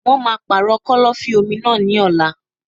Wọn máà ń pàrọ̀ kọ́lọ́fín-omi náà ní ọ̀la.